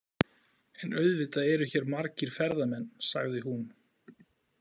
En auðvitað eru hér margir ferðamenn, sagði hún.